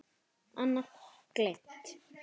Annað: Gleymt.